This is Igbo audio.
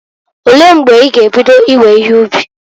Olee mgbe i ga ebido iwe ihe ubi?